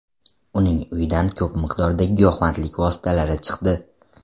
Uning uyidan ko‘p miqdorda giyohvandlik vositalari chiqdi.